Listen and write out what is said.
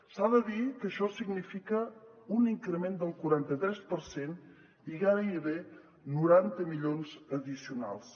s’ha de dir que això significa un increment del quaranta tres per cent i gairebé noranta milions addicionals